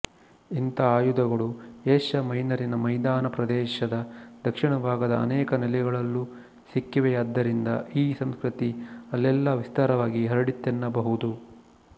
ಇಂಥ ಆಯುಧಗಳು ಏಷ್ಯ ಮೈನರಿನ ಮೈದಾನ ಪ್ರದೇಶದ ದಕ್ಷಿಣಭಾಗದ ಅನೇಕ ನೆಲೆಗಳಲ್ಲೂ ಸಿಕ್ಕಿವೆಯಾದ್ದರಿಂದ ಈ ಸಂಸ್ಕೃತಿ ಅಲ್ಲೆಲ್ಲ ವಿಸ್ತಾರವಾಗಿ ಹರಡಿತೆನ್ನಬಹುದು